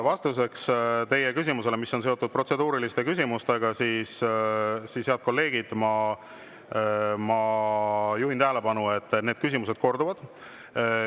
Vastuseks teie küsimusele, mis on seotud protseduuriliste küsimustega, head kolleegid, ma juhin tähelepanu sellele, et need küsimused korduvad.